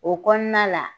O kɔnɔna la